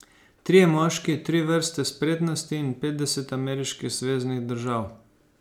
Trije moški, tri vrste spretnosti in petdeset ameriških zveznih držav.